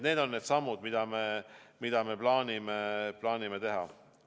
Need on need sammud, mida me plaanime teha.